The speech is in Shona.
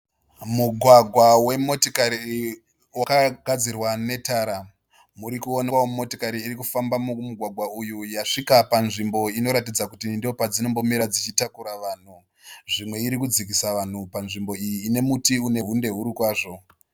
Mugwagwa wemotokari wakagadzirwa netara. Murikookwawo motokari irikufamba mumugwagwa uyu yasvika panzvimbo inoratidza kuti ndopadzombomira dzichitakura vanhu. Zvimwe irikudzikisa vanhu panzvimbo iyi ine inemuti une hunde huru kwazvo.